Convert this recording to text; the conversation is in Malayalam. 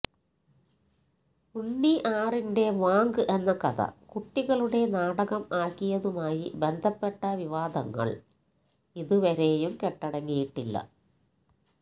ഉണ്ണി ആറിന്റെ വാങ്ക് എന്ന കഥ കുട്ടികളുടെ നാടകം ആക്കിയതുമായി ബന്ധപ്പെട്ട വിവാദങ്ങൾ ഇതുവരെയും കെട്ടടങ്ങിയിട്ടില്ല